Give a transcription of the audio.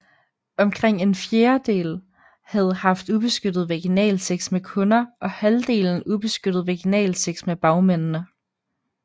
Omkring en fjerdel havde haft ubeskyttet vaginalsex med kunder og halvdelen ubeskyttet vaginalsex med bagmændene